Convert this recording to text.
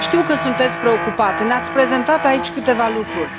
Știu că sunteți preocupat, ne ați prezentat aici câteva lucruri.